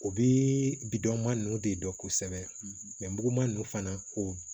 O bidɔnman ninnu de dɔn kosɛbɛ mɛ muguman ninnu fana ko